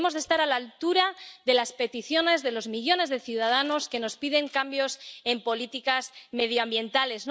Debemos estar a la altura de las peticiones de los millones de ciudadanos que nos piden cambios en políticas medioambientales.